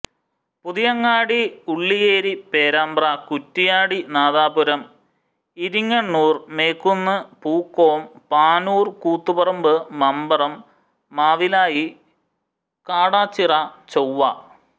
Puthiyangadi Ulliyeri Perambra Kuttiadi Nadapuram Iringannur Mekkunnu Pookkom Panoor Koothuparamba Mamparam Mavilayi Kadachira Chovva